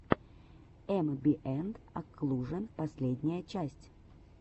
эмбиэнт оклужен последняя часть